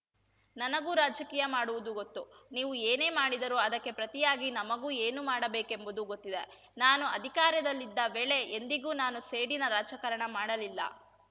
ನನಗೂ ರಾಜಕೀಯ ಮಾಡುವುದು ಗೊತ್ತು ನೀವು ಏನೇ ಮಾಡಿದರೂ ಅದಕ್ಕೆ ಪ್ರತಿಯಾಗಿ ನಮಗೂ ಏನು ಮಾಡಬೇಕೆಂಬುದು ಗೊತ್ತಿದೆ ನಾನು ಅಧಿಕಾರದಲ್ಲಿದ್ದ ವೇಳೆ ಎಂದಿಗೂ ನಾನು ಸೇಡಿನ ರಾಜಕಾರಣ ಮಾಡಲಿಲ್ಲ